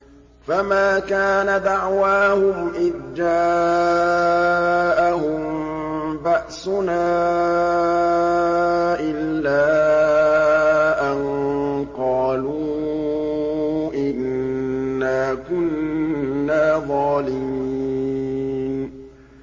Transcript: فَمَا كَانَ دَعْوَاهُمْ إِذْ جَاءَهُم بَأْسُنَا إِلَّا أَن قَالُوا إِنَّا كُنَّا ظَالِمِينَ